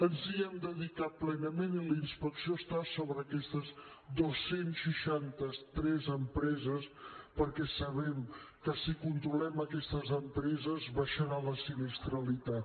ens hi hem dedicat plenament i la inspecció està sobre aquestes dos cents i seixanta tres empreses perquè sabem que si controlem aquestes empreses baixarà la sinistralitat